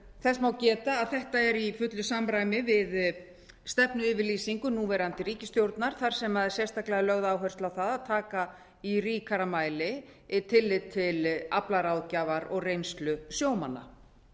þess má geta að þetta er í fullu samræmi við stefnuyfirlýsingu núverandi ríkisstjórnar þar sem það er sérstaklega lögð áhersla á það að taka í ríkara mæli tillit til aflaráðgjafar og reynslu sjómanna það